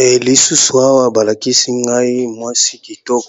Elenge mwasi na salon de coiffure, bawuti kosalaye suki. Aza